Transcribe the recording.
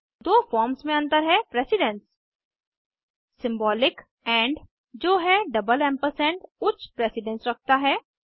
दो फॉर्म्स मे अंतर है प्रेसिडन्स सिंबॉलिक एंड जो है एम्पैम्प उच्च प्रेसिडन्स रखता है